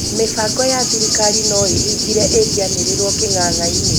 Mibango ya thirikari noĩhingire ĩngĩanirirwo kĩ'nga'ngainĩ